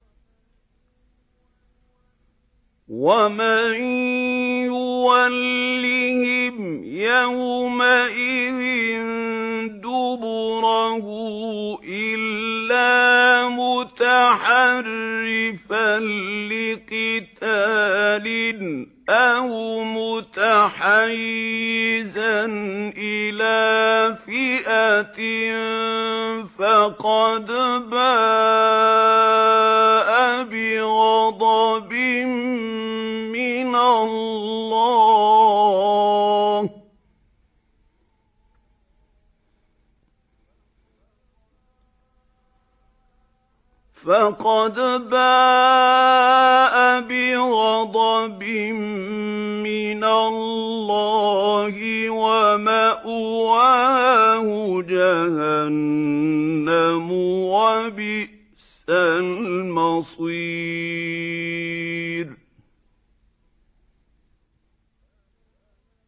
وَمَن يُوَلِّهِمْ يَوْمَئِذٍ دُبُرَهُ إِلَّا مُتَحَرِّفًا لِّقِتَالٍ أَوْ مُتَحَيِّزًا إِلَىٰ فِئَةٍ فَقَدْ بَاءَ بِغَضَبٍ مِّنَ اللَّهِ وَمَأْوَاهُ جَهَنَّمُ ۖ وَبِئْسَ الْمَصِيرُ